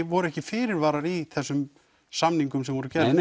voru ekki fyrirvarar í þessum samningum sem voru gerðir